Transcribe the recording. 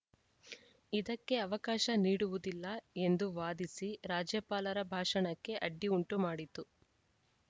ಇದಕ್ಕೆ ಅವಕಾಶ ನೀಡುವುದಿಲ್ಲ ಎಂದು ವಾದಿಸಿ ರಾಜ್ಯಪಾಲರ ಭಾಷಣಕ್ಕೆ ಅಡ್ಡಿ ಉಂಟುಮಾಡಿತು